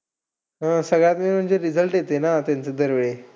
हा, सगळ्यात main म्हणजे result येतं ना त्यांचा दरवेळी.